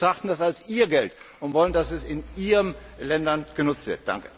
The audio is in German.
Die Bürger betrachten das als ihr Geld und wollen, dass es in ihren Ländern genutzt wird.